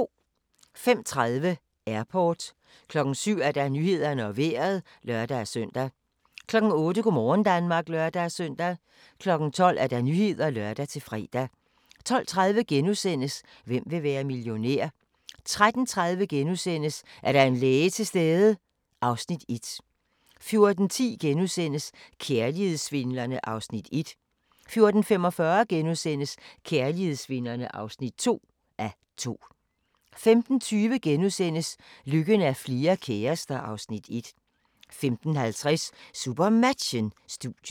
05:30: Airport 07:00: Nyhederne og Vejret (lør-søn) 08:00: Go' morgen Danmark (lør-søn) 12:00: Nyhederne (lør-fre) 12:30: Hvem vil være millionær? * 13:30: Er der en læge til stede? (Afs. 1)* 14:10: Kærlighedssvindlerne (1:2)* 14:45: Kærlighedssvindlerne (2:2)* 15:20: Lykken er flere kærester (Afs. 1)* 15:50: SuperMatchen: Studiet